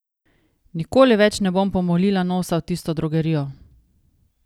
Nikoli več ne bom pomolila nosa v tisto drogerijo!